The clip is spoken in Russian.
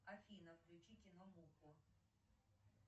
афина включи кино мурку